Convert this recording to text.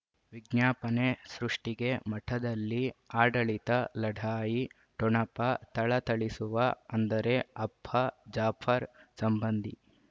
ವಿಜ್ಞಾಪನೆ ಸೃಷ್ಟಿಗೆ ಮಠದಲ್ಲಿ ಆಡಳಿತ ಲಢಾಯಿ ಠೊಣಪ ಥಳಥಳಿಸುವ ಅಂದರೆ ಅಪ್ಪ ಜಾಫರ್ ಸಂಬಂಧಿ